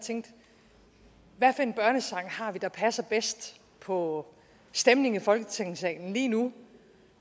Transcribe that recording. tænkte hvad for en børnesang har vi der passer bedst på stemningen i folketingssalen lige nu